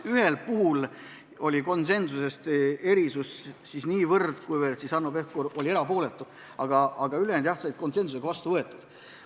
Ühel puhul ei olnud konsensust, sest Hanno Pevkur oli erapooletu, aga ülejäänud ettepanekud said jah konsensuslikult vastu võetud.